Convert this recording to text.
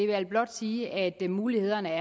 vil blot sige at mulighederne